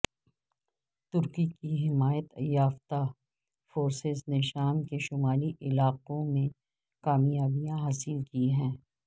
ترکی کی حمایت یافتہ فورسز نے شام کے شمالی علاقوں میں کامیابیاں حاصل کی ہیں